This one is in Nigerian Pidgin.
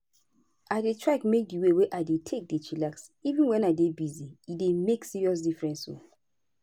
i dey try make di way i take dey chillax even wen i dey busy e dey make serious difference o.